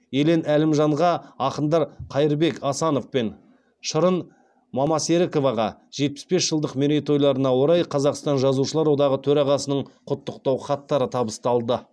елен әлімжанға ақындар қайырбек асанов пен шырын мамасеріковаға жетпіс бес жылдық мерейтойларына орай қазақстан жазушылар одағы төрағасының құттықтау хаттары табысталды